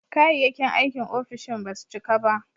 Kayayyakin aikin ofishin ba su cika ba.